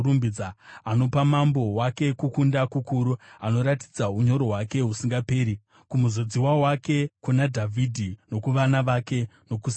Anopa mambo wake kukunda kukuru; anoratidza unyoro hwake husingaperi kumuzodziwa wake, kuna Dhavhidhi nokuvana vake nokusingaperi.